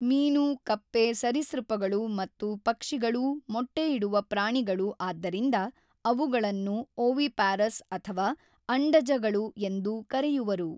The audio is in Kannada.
ಮೀನು ಕಪ್ಪೆ ಸರೀಸೃಪಗಳು ಮತ್ತು ಪಕ್ಷಿಗಳೂ ಮೊಟ್ಟೆ ಇಡುವ ಪ್ರಾಣಿಗಳು ಆದ್ದರಿಂದ ಅವುಗಳನ್ನು ಓವಿಪ್ಯಾರಸ್ ಅಥವಾ ಅಂಡಜ ಗಳು ಎಂದು ಕರೆಯುವರು.